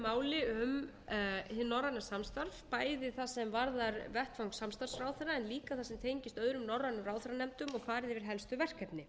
máli um hið norræna samstarf bæði það sem varðar vettvang samstarfsráðherra en líka það sem tengist öðrum norrænum ráðherranefndum og farið yfir helstu verkefni